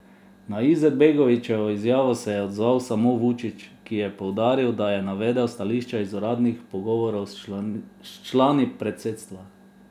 Na Izetbegovićevo izjavo se je odzval samo Vučić, ki je poudaril, da je navedel stališča iz uradnih pogovorov s člani predsedstva.